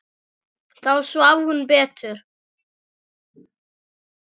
Þá svaf hún betur.